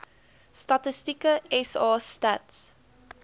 statistieke sa stats